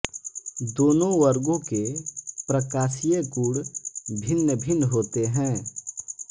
दोनों वर्गो के प्रकाशीय गुण भिन्नभिन्न होते हैं